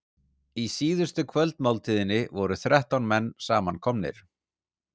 Í síðustu kvöldmáltíðinni voru þrettán menn samankomnir.